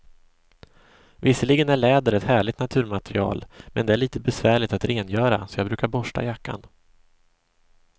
Visserligen är läder ett härligt naturmaterial, men det är lite besvärligt att rengöra, så jag brukar borsta jackan.